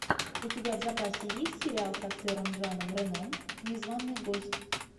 у тебя в запасе есть сериал с актером жаном рено незваный гость